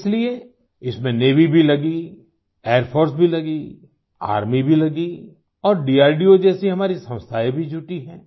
इसलिए इसमें नेवी भी लगीएयर फोर्स भी लगी आर्मी भी लगी और DRDOजैसी हमारी संस्थाएं भी जुटी हैं